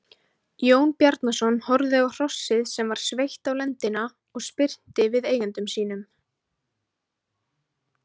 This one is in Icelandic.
Jón Bjarnason horfði á hrossið sem var sveitt á lendina og spyrnti við eigendum sínum.